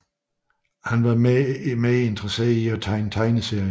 Han var meget interesseret i at tegne tegneserier